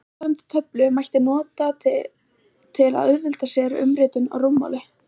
eftirfarandi töflu mætti nota til að auðvelda sér umritun á rúmmáli